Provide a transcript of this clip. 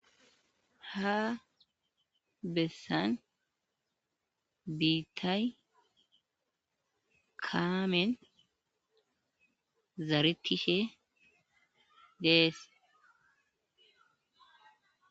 ha bessan biittay kaamen zaaretishe dees.